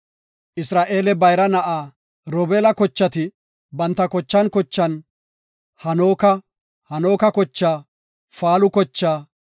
Isra7eele bayra na7aa Robeela kochati banta kochan kochan, Hanooka kochaa, Faalu kochaa,